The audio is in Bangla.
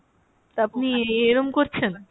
তা আপনি এরম করছেন?